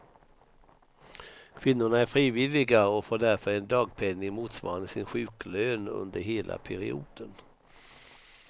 Kvinnorna är frivilliga och får därför en dagpenning motsvarande sin sjuklön under hela perioden.